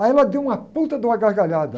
Aí ela deu uma puta de uma gargalhada.